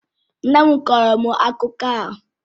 Nne m kọọrọ m akụkọ ahụ.